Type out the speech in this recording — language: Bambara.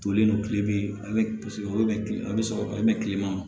Tolen don kile bi wolonfila bɛ sɔrɔ a bɛ mɛn kilema